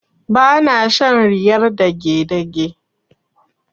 Ba na shan riyar dagedage.